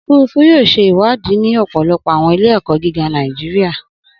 Ofurufu yoo ṣe iwadi ni ọpọlọpọ awọn ile-ẹkọ giga Naijiria.